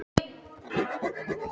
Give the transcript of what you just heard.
Ónefndur fréttamaður: Í sjávarútvegi?